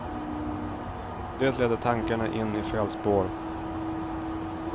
Det leder tankarna in i fel spår.